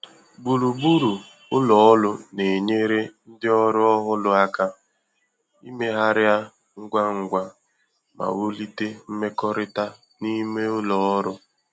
Gburugburu ụlọ ọrụ na-enyere ndị ọrụ ọhụrụ aka imegharia ngwá ngwá ma wulite mmekọrịta n’ime ụlọ ọrụ́.